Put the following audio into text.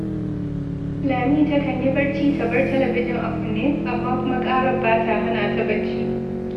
Lami takan yi barci, ta bar talabijin a kunne, amma kuma ƙarar ba ta hana ta barci